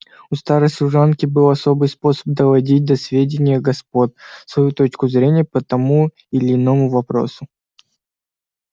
у старой служанки был особый способ доводить до сведения господ свою точку зрения по тому или иному вопросу